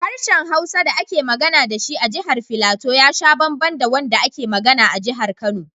Harshen Hausa da ake magana da shi a Jihar Filato ya sha bamban da wanda ake magana a Jihar Kano.